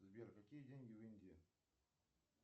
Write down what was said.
сбер какие деньги в индии